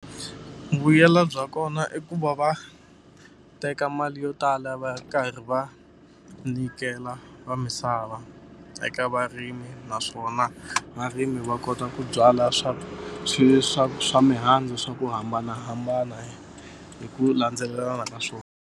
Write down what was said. Vuyelo bya kona i ku va va teka mali yo tala va karhi va nyikela va misava eka varimi naswona varimi va kota ku byala swa swi swa swa mihandzu swa ku hambanahambana hi ku landzelelana ka swona.